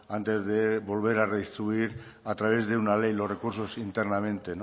antes de volver a redistribuir a través de una ley los recursos internamente